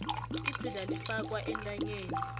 idzila ifakwa entanyeni